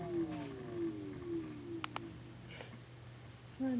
ਹਾਂਜੀ